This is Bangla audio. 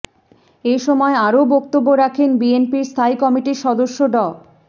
এ সময় আরও বক্তব্য রাখেন বিএনপির স্থায়ী কমিটির সদস্য ড